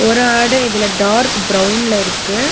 ஒரு ஆடு இதுல டார்க் பிரவுன்ல இருக்கு.